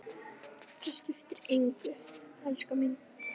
Það skiptir engu, elskan mín.